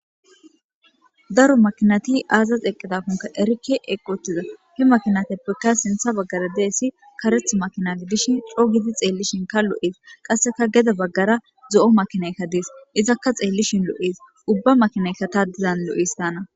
Daro makinati aazaz eqqidakonka erike eqqotiza hi makinateppekka sintha baggara deessi kareth makinati dishin co gidi xeellishin ka lo'ees qasseka geda baggara zo'o makinaykka dees izakka xeellishin lo'ees ubba makinayka taadizan lo'es taana.